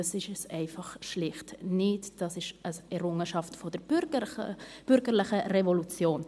Dies ist schlicht nicht der Fall, sie sind eine Errungenschaft der bürgerlichen Revolution.